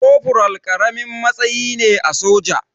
Kofural ƙaramin matsayi ne a soja.